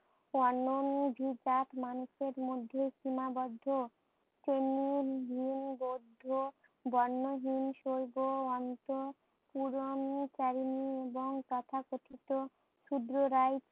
মানুষের মধ্যে সিমাবদ্ধ। বৌদ্ধ বর্ণহীন সইগো অন্ত পুরোনো এবং তথা কথিত সুদ্র রাই